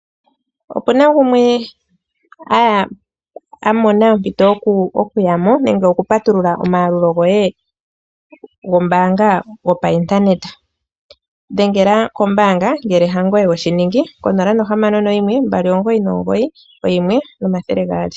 Opena gumwe aya amona ompito okuyamo nenge oku patulula omagalulo goye gombaanga wopa internet, dhengela ko mbaanga ngele angoye weshiningi konomola ko 0612991200.